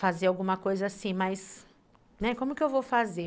fazer alguma coisa assim, né, mas como que eu vou fazer?